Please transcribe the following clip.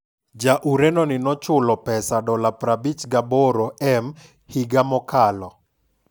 Ja Ureno ni nochul pesa $ 58m higa mokalo